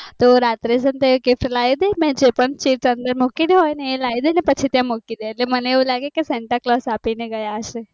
તો રાત્રે કેટલાય જે પણ અંદર કીધું હોઈ અ લય આવે અને અંદર મૂકી દે એટલે મને એવું લાગે કે santa claus આપી દે